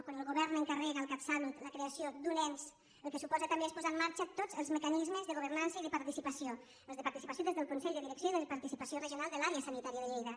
quan el govern encarrega al catsalut la creació d’un ens el que suposa també és posar en marxa tots els mecanismes de governança i de participació els de participació des del consell de direcció i de participació regional de l’àrea sanitària de lleida